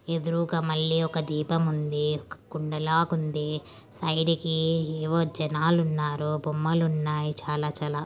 ఎదురుగా మళ్లీ ఒక దీపం ఉంది. ఒక కుండ లాగా ఉంది. సైడ్ కి ఏవో జనాలున్నారు. బొమ్మలు ఉన్నాయి చాలా చాలా.